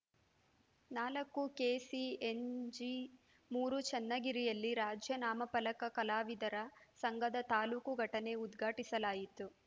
ನಾಲ್ಕು ಕೆಸಿ ಏನ್ ಜಿ ಮೂರು ಚನ್ನಗಿರಿಯಲ್ಲಿ ರಾಜ್ಯ ನಾಮಫಲಕ ಕಲಾವಿದರ ಸಂಘದ ತಾಲೂಕು ಘಟನೆ ಉದ್ಘಾಟಿಸಲಾಯಿತು